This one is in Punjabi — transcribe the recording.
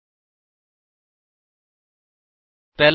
ਕਲਾਸ ਲਈ ਵੱਖਰਾ ਕੰਸਟਰਕਟਰਸ ਪਰਿਭਾਸ਼ਿਤ ਕਰੋ